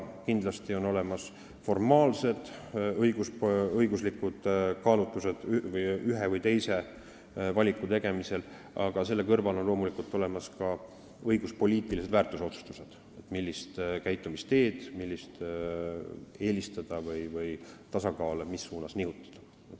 Kindlasti on ühe või teise valiku tegemisel olemas formaalsed õiguslikud kaalutlused, aga selle kõrval on olemas ka õiguspoliitilised väärtusotsustused, millist käitumisteed eelistada või mis suunas tasakaalu nihutada.